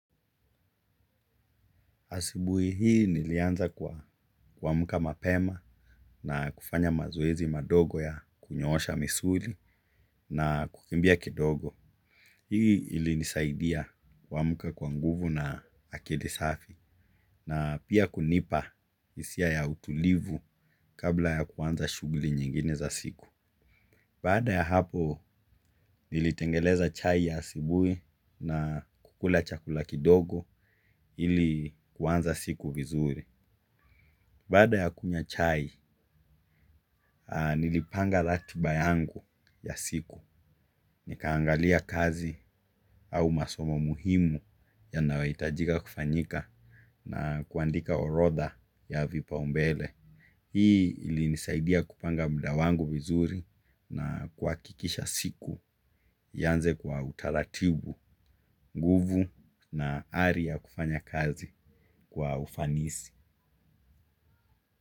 Asubuhi hii nilianza kwa kuamka mapema na kufanya mazoezi madogo ya kunyoosha misuli na kukimbia kidogo. Hii ilinisaidia kuamka kwa nguvu na akili safi na pia kunipa hisia ya utulivu kabla ya kuanza shughuli nyingine za siku. Baada ya hapo nilitengeneza chai ya asubui na kukula chakula kidogo ili kuanza siku vizuri. Baada ya kunywa chai, nilipanga ratiba yangu ya siku. Nikaangalia kazi au masomo muhimu yanayohitajika kufanyika na kuandika orodha ya vipaumbele. Hii ilinisaidia kupanga mda wangu vizuri na kuhakikisha siku ianze kwa utaratibu, nguvu na ari ya kufanya kazi kwa ufanisi.